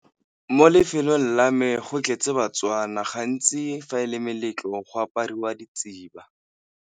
Mo lefelong la me go tletse ba-Tswana, gantsi fa e le meletlo go apariwa .